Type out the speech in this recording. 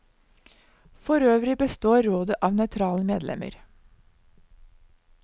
Forøvrig består rådet av nøytrale medlemmer.